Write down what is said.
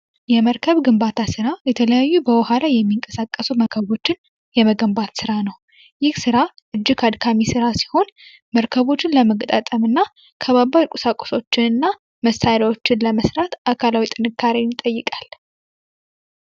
የመርከብ የመገንባት ስራ የተለያዩ በዉሃ ላይ የሚንቀሳቀሱ መርከቦችን የመገንባት ስራ ነው። ይህ ስራ እጅግ አድካሚ ሲሆን መርከቦችን ለመገጣጠም እና ከበባድ ቁሳቁሶችን እና መሳሪያዎች ለማንሳት አካላዊ ጥንካሬን ይጠይቃል።